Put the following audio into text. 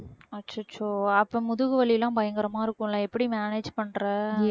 அச்சச்சோ அப்ப முதுகு வலி எல்லாம் பயங்கரமா இருக்கும் இல்ல எப்படி manage பண்ற